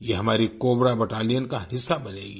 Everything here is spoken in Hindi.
ये हमारी कोब्रा बैटेलियन का हिस्सा बनेंगी